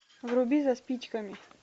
вруби за спичками